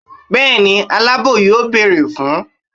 bẹẹni alabọ yóò beerẹ fún